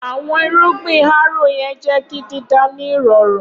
Awọn irugbin harrow yẹn jẹ ki dida ni irọrun.